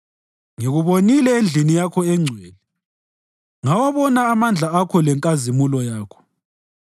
Ngikubonile endlini Yakho engcwele ngawabona amandla Akho lenkazimulo Yakho.